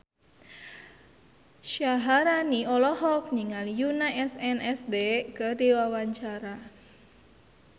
Syaharani olohok ningali Yoona SNSD keur diwawancara